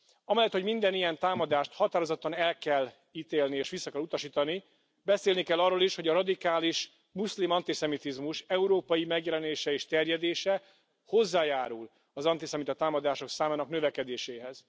Amellett, hogy minden ilyen támadást határozottan el kell ítélni és vissza kell utasítani, beszélni kell arról is, hogy a radikális muszlim antiszemitizmus európai megjelenése és terjedése hozzájárul az antiszemita támadások számának növekedéséhez.